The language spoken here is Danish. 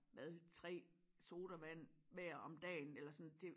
Hvad 3 sodavand hver om dagen eller sådan det